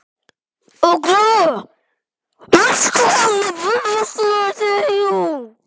Olga, manstu hvað verslunin hét sem við fórum í á sunnudaginn?